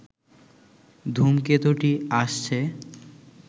ধূমকেতুটি আসছে